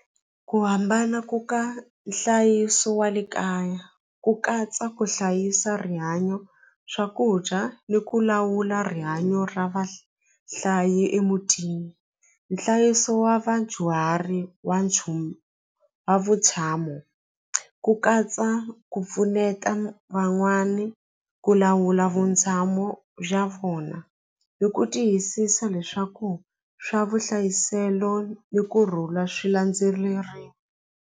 Ku hambana ku ka nhlayiso wa le kaya ku katsa ku hlayisa rihanyo swakudya ni ku lawula rihanyo ra vahlayi emutini nhlayiso wa vadyuhari wa nchumu wa vutshamo ku katsa ku pfuneta van'wani ku lawula vutshamo bya vona ni ku tiyisisa leswaku swa vuhlayiselo ni kurhula .